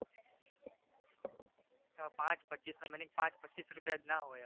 ના પાંચ પચ્ચીસનો meaning પાંચ પચ્ચીસ રૂપિયા જ ના હોય હવે